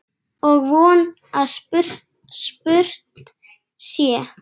Og von að spurt sé.